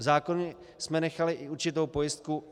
V zákoně jsme nechali i určitou pojistku.